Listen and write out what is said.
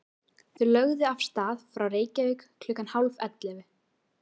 Þau lögðu af stað frá Reykjavík klukkan hálfellefu.